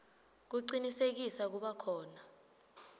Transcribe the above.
kucinisekisa kuba khona